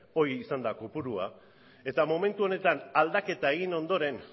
hori izan da kopurua eta momentu honetan aldaketa egin ondoren